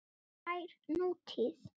Tær nútíð.